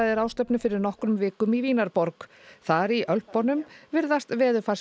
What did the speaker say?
alþjóðajarðfræðiráðstefnu fyrir nokkrum vikum í Vínarborg þar í Ölpunum virðast